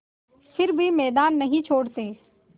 फिर भी मैदान नहीं छोड़ते